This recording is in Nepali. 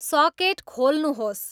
सकेट खोल्नुहोस्